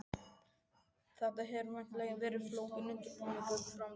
Þetta hefur væntanlega verið flókinn undirbúningur og framkvæmd?